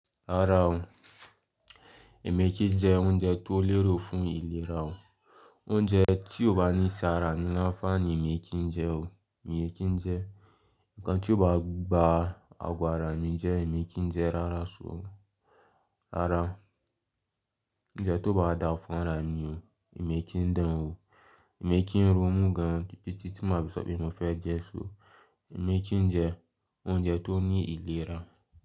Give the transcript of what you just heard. Rárá o, èmi kì jẹ oúnjẹ tó lérò fún ìlera o. Oúnjẹ tí ó bá ní ṣe ara mi ni ànfàní, èmi kì ń jẹ o, èmi kì ń jẹ. Ǹkan tí ó bá ba àgo àrá mi jẹ, èmi kì ń jẹ rárá. Rárá, oúnjẹ tió bá da fún ara mi o, èmi kì ń dán o. Èmi kì ń ro mú gan-an, tí ma fi sọ pé mo fẹ́ jẹ. Emeki ń jẹ oúnjẹ tó ń ní ìlera.